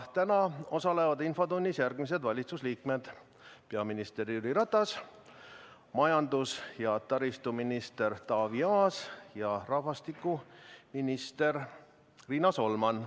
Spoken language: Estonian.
Täna osalevad infotunnis järgmised valitsuse liikmed: peaminister Jüri Ratas, majandus- ja taristuminister Taavi Aas ja rahvastikuminister Riina Solman.